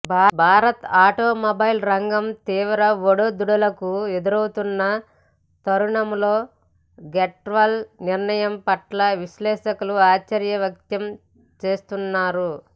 భారత ఆటోమొబైల్ రంగం తీవ్ర ఒడుదొడుకులు ఎదుర్కొంటున్న తరుణంలో గ్రేట్వాల్ నిర్ణయం పట్ల విశ్లేషకులు ఆశ్చర్యం వ్యక్తం చేస్తున్నారు